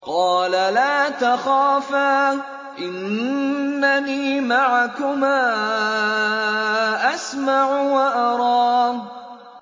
قَالَ لَا تَخَافَا ۖ إِنَّنِي مَعَكُمَا أَسْمَعُ وَأَرَىٰ